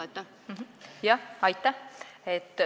Aitäh!